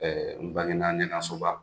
Ɛɛ n bangena Ɲɛnasoba.